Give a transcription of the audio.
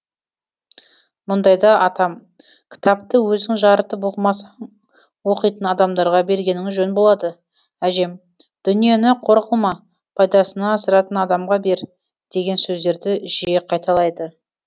мұндайда атам кітапты өзің жарытып оқымасаң оқитын адамдарға бергенің жөн болады әжем дүниені қор қылма пайдасына асыратын адамға бер деген сөздерді жиі қайталайды